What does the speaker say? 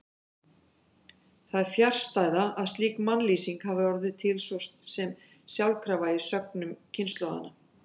Það er fjarstæða að slík mannlýsing hafi orðið til svo sem sjálfkrafa í sögnum kynslóðanna.